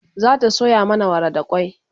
zata soya mana wara da kwai